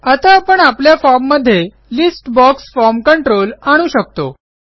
आता आपण आपल्या फॉर्म मध्ये लिस्ट बॉक्स फॉर्म कंट्रोल आणू शकतो